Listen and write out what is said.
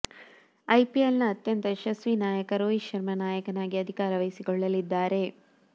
IPL ನ ಅತ್ಯಂತ ಯಶಸ್ವಿ ನಾಯಕ ರೋಹಿತ್ ಶರ್ಮಾ ನಾಯಕನಾಗಿ ಅಧಿಕಾರ ವಹಿಸಿಕೊಳ್ಳಲಿದ್ದಾರೆ